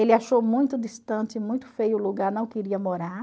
Ele achou muito distante, muito feio o lugar, não queria morar.